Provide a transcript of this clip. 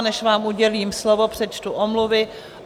A než vám udělím slovo, přečtu omluvy.